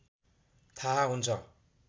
थाहा हुन्छ